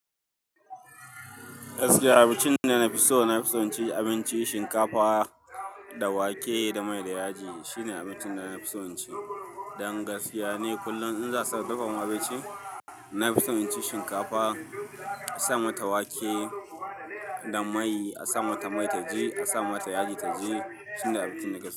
Gaskiya abincin da na fi so, na fi son cin abinci shinkafa da wake da mai da yaji. Shine abincin da na fi son ci. Dan gaskiya ne. Kullum in za a dafa mun abinci, na fi son in ci shinkafa, a sa mata wake da mai, a sa mata mai ta ji, a sa mata yaji ta ji. Shine abincin da na fi so.